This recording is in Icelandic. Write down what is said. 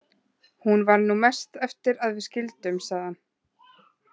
Hún var nú mest eftir að við skildum, sagði hann.